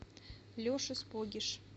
леша спогиш